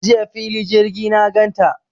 Jiya fili jirgi na gan ta.